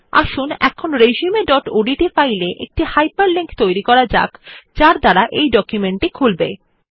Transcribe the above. আসুন এখন resumeওডিটি ফাইলে একটি হাইপারলিংক তৈরী করা যাক যা এই ডকুমেন্ট টি খুলবে